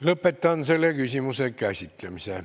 Lõpetan selle küsimuse käsitlemise.